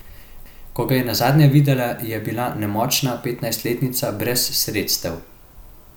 Ko ga je nazadnje videla, je bila nemočna petnajstletnica brez sredstev.